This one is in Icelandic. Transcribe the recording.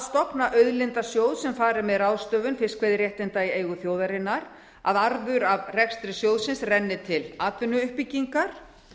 stofna auðlindasjóð sem fari með ráðstöfun fiskveiðiréttinda í eigu þjóðarinnar að arður af rekstri sjóðsins renni til atvinnuuppbyggingar